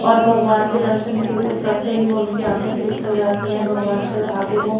और भगवान के दर्शन करते ही उनकी आंखे तृप्त हो जाती है भगवान के अ आगे वो --